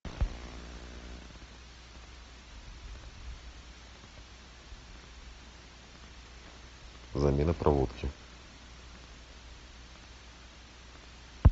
замена проводки